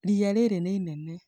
ria rĩrĩ nĩ rĩnene